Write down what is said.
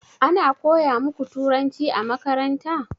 Ana koya muku turanci a makaranta?